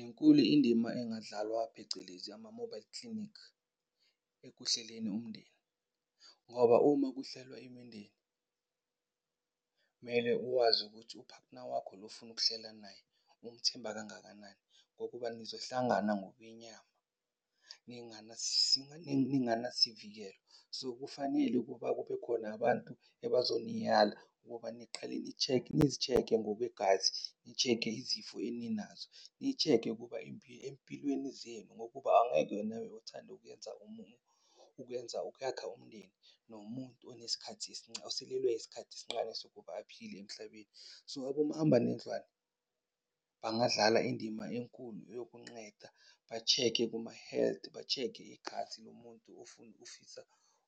Inkulu indima engadlawa phecelezi ama-mobile klinikhi ekuhleleni umndeni. Ngoba uma kuhlelwa imindeni kumele uwazi ukuthi uphathina wakho lo ofuna ukuhlela naye umthemba kangakanani? Ngokuba nizohlangana ngobenyama ninganasivikelo. So, kufanele ukuba kube khona abantu ebazoniyala ukuba niqhale ni-check-e. Nizi-check-e ngokwegwazi, ni-check-e izifo eninazo, ni-check-e ukuba empilweni zenu, ngokuba angeke nawe uthande ukuyenza ukuyenza, ukuyakha umndeni nomuntu onesikhathi , osalelwe isikhathi esinqane sokuba aphile emhlabeni. So, abomahambanendlwane bangadlala indima enkulu yokunqeda ba-check-e boma-health, ba-check-e igazi lomuntu ofisa